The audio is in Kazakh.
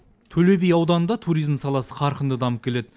төле би ауданында туризм саласы қарқынды дамып келеді